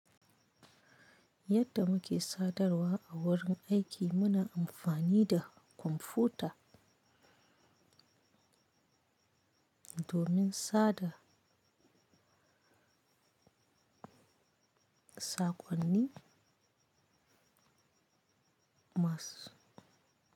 Yadda muke sadarwa a wurin aiki muna amfani da kwamfuta domin sada saƙonni masu.